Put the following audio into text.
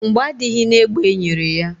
Mgbọ adịghị na egbe enyere ya.